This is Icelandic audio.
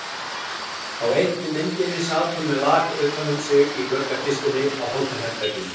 Á einni myndinni sat hún með lak utan um sig í gluggakistunni á hótelherberginu.